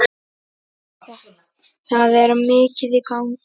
Það er mikið í gangi.